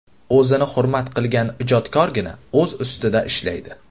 O‘zini hurmat qilgan ijodkorgina o‘z ustida ishlaydi.